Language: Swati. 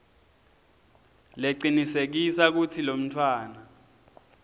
lecinisekisa kutsi lomntfwana